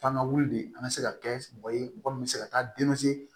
Taa an ka wuli de an ka se ka kɛ mɔgɔ ye mɔgɔ min bɛ se ka taa